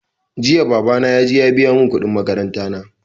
Jiya babana ya je ya biya mun kuɗin makaranta na